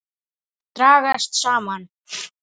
Dragast saman.